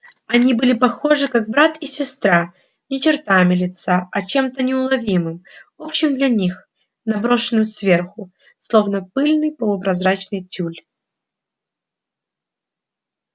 они были похожи как брат и сестра не чертами лица а чем-то неуловимым общим для них наброшенным сверху словно пыльный полупрозрачный тюль